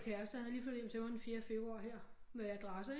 Kæreste han er lige flyttet hjem til mig den fjerde februar her med adresse